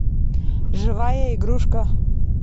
живая игрушка